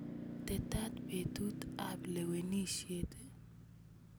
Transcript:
Tetat petut ap lewenisiet ii?